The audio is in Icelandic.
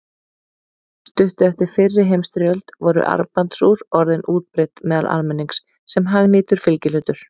Stuttu eftir fyrri heimsstyrjöld voru armbandsúr orðin útbreidd meðal almennings sem hagnýtur fylgihlutur.